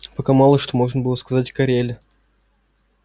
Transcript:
пока мало что можно было сказать о кореле